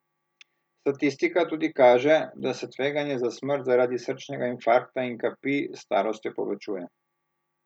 Statistika tudi kaže, da se tveganje za smrt zaradi srčnega infarkta in kapi s starostjo povečuje.